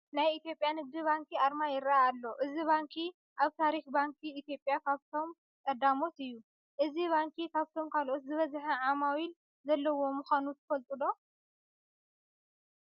ናይ ኢትዮጵያ ንግዲ ባንኪ ኣርማ ይርአ ኣሎ፡፡ እዚ ባንኪ ኣብ ታሪክ ባንኪ ኢትዮጵያ ካብቶም ቀዳሞት እዩ፡፡ እዚ ባንኪ ካብቶም ካልኦት ዝበዝሐ ዓሚል ዘለዎ ምዃኑ ትፈልጡ ዶ?